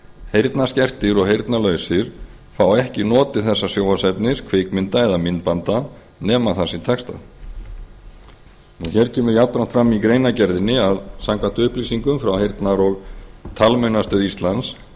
heyrnarskertir og heyrnarlausir fá ekki notið þessa sjónvarpsefnis kvikmynda eða myndbanda nema það sé textað hér kemur jafnframt fram í greinargerðinni að samkvæmt upplýsingum frá heyrnar og talmeinastöð íslands